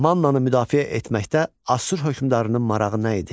Mannanı müdafiə etməkdə Assur hökmdarının marağı nə idi?